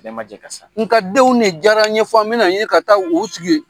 Bɛɛ man jɛ ka sa, nka denw ne diyara ye fo an bɛ na ɲinin ka taa u sigi